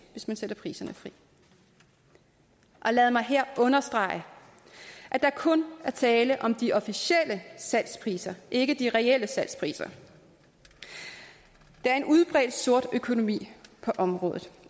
hvis man sætter priserne fri lad mig her understrege at der kun er tale om de officielle salgspriser ikke de reelle salgspriser der er en udbredt sort økonomi på området